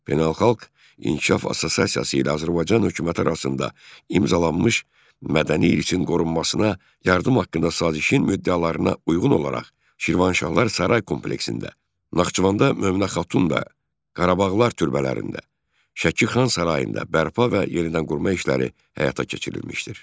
Beynəlxalq İnkişaf Assosiasiyası ilə Azərbaycan hökuməti arasında imzalanmış Mədəni İrsin Qorunmasına Yardım Haqqında Sazişin müddəalarına uyğun olaraq Şirvanşahlar Saray Kompleksində, Naxçıvanda Mömünə Xatun da, Qarabağlar türbələrində, Şəki Xan sarayında bərpa və yenidənqurma işləri həyata keçirilmişdir.